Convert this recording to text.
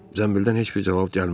Zəmbildən heç bir cavab gəlmədi.